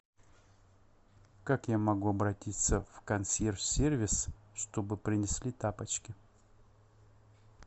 как я могу обратиться в консьерж сервис чтобы принесли тапочки